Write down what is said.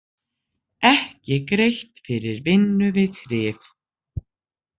Ekki greitt fyrir vinnu við þrif